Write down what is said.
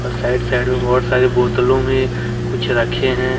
Side side में बहोत सारे बोतलों में कुछ रखे हैं।